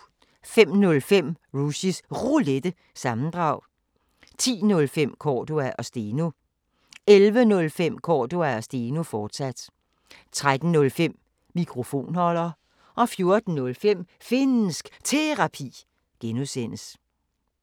05:05: Rushys Roulette – sammendrag 10:05: Cordua & Steno 11:05: Cordua & Steno, fortsat 13:05: Mikrofonholder 14:05: Finnsk Terapi (G)